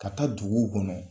Ka taa duguw kɔnɔ.